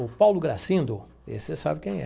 O Paulo Gracindo, esse você sabe quem é.